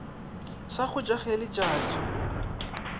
sa go ja ge letšatsi